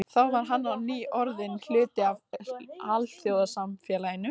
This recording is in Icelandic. Þá var hann á ný orðinn hluti af alþjóðasamfélaginu.